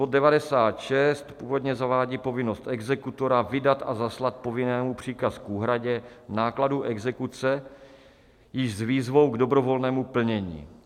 Bod 96 původně zavádí povinnost exekutora vydat a zaslat povinnému příkaz k úhradě nákladů exekuce i s výzvou k dobrovolnému plnění.